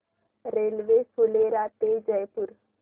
railway Phulera ते जयपूर